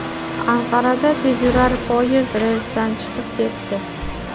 Anqarada tezyurar poyezd relsdan chiqib ketdi.